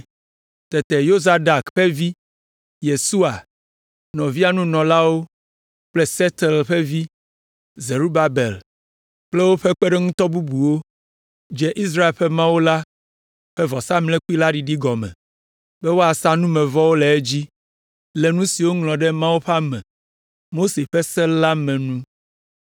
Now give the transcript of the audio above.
Tete Yozadak ƒe vi, Yesua, nɔvia nunɔlawo kple Sealtiel ƒe vi, Zerubabel kple woƒe kpeɖeŋutɔ bubuwo dze Israel ƒe Mawu la ƒe vɔsamlekpui la ɖiɖi gɔme be woasa numevɔwo le edzi, le nu si woŋlɔ ɖe Mawu ƒe ame, Mose ƒe Se la me nu.